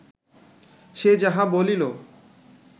সে যাহা বলিল